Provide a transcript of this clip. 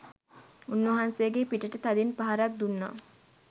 උන්වහන්සේගේ පිටට තදින් පහරක් දුන්නා.